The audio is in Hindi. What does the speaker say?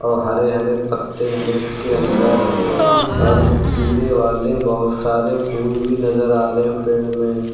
और हरे हरे पत्ते है इसके अंदर और पीले वाले बहुत सारे फूल भी नजर आ रहे हैं पेड़ में।